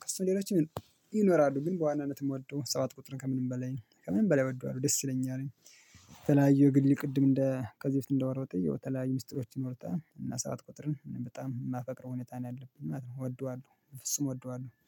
ከሱም ሌሎች ይኖራሉ ግን በዋናነት እምወደው ሰባት ቁጥርን ከምንም በላይ ከምንም በላይ እወደዋለሁ ደስ ይለኛል። የተለያዩ የግል ቅድም እንደ ከዚህ በፊት እንደወራሁት የተለያዩ ሚስጥሮችን ይኖሩታል እና ሰባት ቁጥርን በጣም እማፈቅረው ሁኔታ ነው ያለ ማለት ነው። እወደዋለሁ ፍጹም እወደዋለሁ